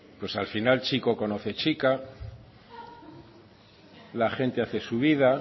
pues al final chico conoce chica la gente hace su vida